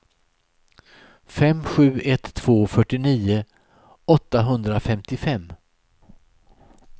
fem sju ett två fyrtionio åttahundrafemtiofem